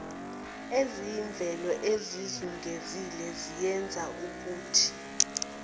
eziyimvelo ezikuzungezile ziyenzaukuthi